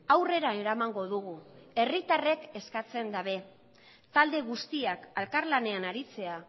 aurrera eramango dugu herritarrek eskatzen dabe talde guztiak elkarlanean aritzea